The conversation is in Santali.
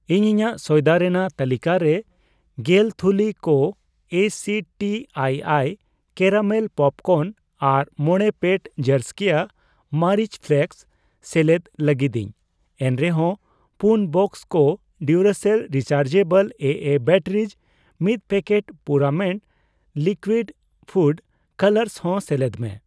ᱤᱧ ᱤᱧᱟᱜ ᱥᱚᱭᱫᱟ ᱨᱮᱱᱟᱜ ᱛᱟᱹᱞᱤᱠᱟᱨᱮ ᱜᱮᱞ ᱛᱷᱩᱞᱤ ᱠᱚ ᱮᱥᱤᱴᱤ ᱟᱭᱟᱭ ᱠᱮᱨᱟᱢᱮᱞ ᱯᱚᱯᱠᱚᱨᱱ ᱟᱨ 5 ᱯᱮᱴ ᱡᱟᱨᱥ ᱠᱮᱭᱟ ᱢᱟᱹᱨᱤᱪ ᱯᱷᱞᱮᱠᱥ ᱥᱮᱞᱮᱫ ᱞᱟᱹᱜᱤᱫᱤᱧ ᱾ ᱮᱱᱨᱮᱦᱚᱸ ᱯᱩᱱ ᱵᱟᱠᱥᱚ ᱠᱚ ᱰᱤᱩᱨᱟᱥᱮᱞ ᱨᱤᱪᱟᱨᱡᱮᱵᱚᱞ ᱮᱮ ᱵᱮᱴᱟᱨᱤᱡ, ᱢᱤᱛ ᱯᱮᱠᱮᱴ ᱯᱩᱨᱟᱢᱮᱴ ᱞᱤᱠᱩᱣᱤᱰ ᱯᱷᱚᱰ ᱠᱟᱞᱟᱨᱥ ᱦᱚᱸ ᱥᱮᱞᱮᱫ ᱢᱮ ᱾